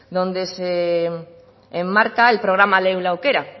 donde se enmarca el programa lehen aukera